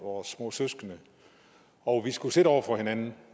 vores små søskende og vi skulle sidde over for hinanden